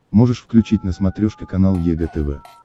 можешь включить на смотрешке канал егэ тв